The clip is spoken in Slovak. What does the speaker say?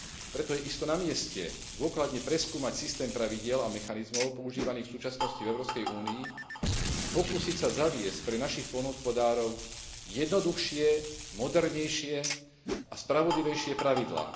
Preto je isto namieste dôkladne preskúmať systém pravidiel a mechanizmov používaných v súčasnosti v Európskej únii a pokúsiť sa zaviesť pre našich poľnohospodárov jednoduchšie, modernejšie a spravodlivejšie pravidlá.